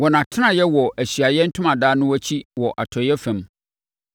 Wɔn atenaeɛ wɔ Ahyiaeɛ Ntomadan no akyi wɔ atɔeɛ fam.